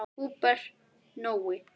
Húbert Nói.